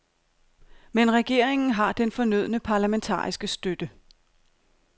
Men regeringen har den fornødne parlamentariske støtte.